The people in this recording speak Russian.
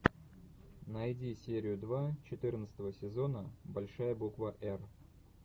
найди серию два четырнадцатого сезона большая буква р